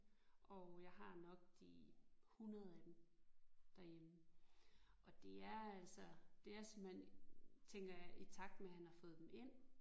Og jeg har nok de 100 af dem derhjemme og det er altså det er simpelthen tænker jeg i takt med han har fået dem ind